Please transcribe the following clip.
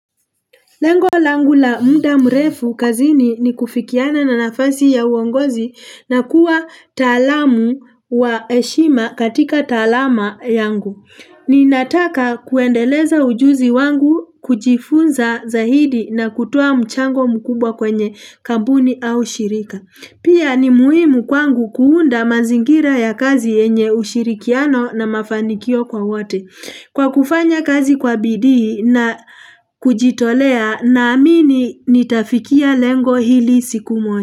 Lengo langu la muda mrefu kazini ni kufikiana na nafasi ya uongozi na kuwa taalamu wa heshima katika talama yangu. Ninataka kuendeleza ujuzi wangu kujifunza zaidi na kutoa mchango mkubwa kwenye kampuni au shirika. Pia ni muhimu kwangu kuunda mazingira ya kazi yenye ushirikiano na mafanikio kwa wote. Kwa kufanya kazi kwa bidii na kujitolea naamini nitafikia lengo hili siku moja.